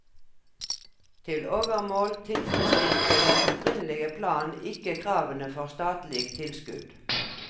Til overmål tilfredsstilte den opprinnelige plan ikke kravene for statlig tilskudd.